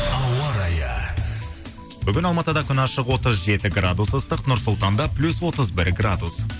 ауа райы бүгін алматыда күн ашық отыз жеті градус ыстық нұр сұлтанда плюс отыз бір градус